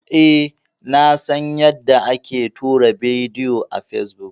E, na san yanda ake tura bidiyo a fesbuk.